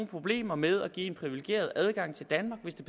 problemer med at give en privilegeret adgang til danmark hvis det